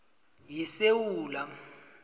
yesewula